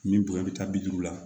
Min bonya bɛ taa bi duuru la